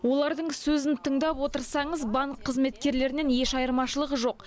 олардың сөзін тыңдап отырсаңыз банк қызметкерлерінен еш айырмашылығы жоқ